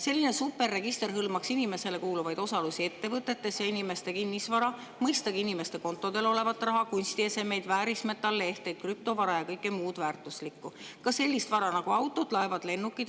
Selline superregister hõlmaks inimestele kuuluvaid osalusi ettevõtetes ja inimeste kinnisvara, mõistagi inimeste kontodel olevat raha, kunstiesemeid, väärismetallehteid, krüptovara ja kõike muud väärtuslikku, ka sellist vara nagu autod, laevad, lennukid.